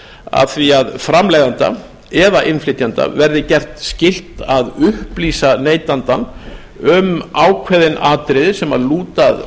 að því að framleiðanda eða innflytjanda verði gert skylt að upplýsa neytandann um ákveðin atriði sem lúta að